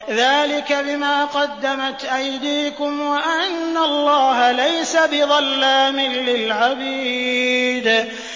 ذَٰلِكَ بِمَا قَدَّمَتْ أَيْدِيكُمْ وَأَنَّ اللَّهَ لَيْسَ بِظَلَّامٍ لِّلْعَبِيدِ